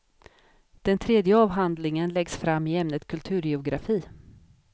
Den tredje avhandlingen läggs fram i ämnet kulturgeografi.